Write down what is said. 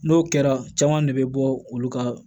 N'o kɛra caman de bɛ bɔ olu ka